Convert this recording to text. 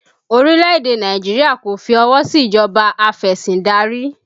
Orílẹ̀ èdè Nàìjíríà kò fi ọwọ sí ìjọba afesindari